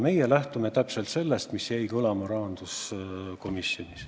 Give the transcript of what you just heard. Meie lähtume täpselt sellest, mis jäi kõlama rahanduskomisjonis.